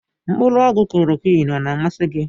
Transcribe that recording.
Mkpụrụ ọgwụ klọrọquin ọ na amasị gị?